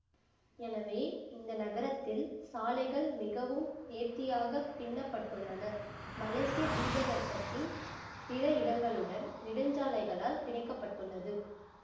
எனவே இந்த நகரத்தில் சாலைகள் மிகவும் நேர்த்தியாகப் பின்னப்பட்டுள்ளன மலேசிய தீபகற்பத்தின் பிற இடங்களுடன் நெடுஞ்சாலைகளால் பிணைக்கப்பட்டுள்ளது